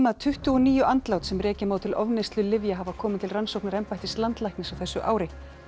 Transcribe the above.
tuttugu og níu andlát sem rekja má til ofneyslu lyfja hafa komið til rannsóknar embættis landlæknis á þessu ári